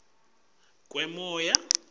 ngekungcoliswa kwemoya